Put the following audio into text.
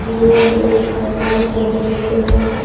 यह एक बाजार का दृश्य है।